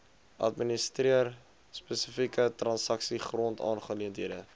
administreer spesifieke transaksiegrondaangeleenthede